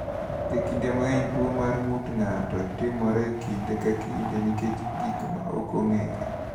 E kinde mang’eny, tuwo mar ng’ut ng’ato (PRP) timore e kinde ka kinde nikech gik ma ok ong’ere.